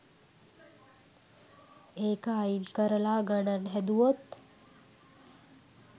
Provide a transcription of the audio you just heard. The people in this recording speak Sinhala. ඒක අයින් කරලා ගණන් හැදුවොත්